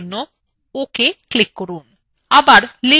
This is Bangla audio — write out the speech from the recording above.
আবার লেআউট layer click করুন